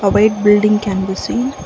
white building can be seen.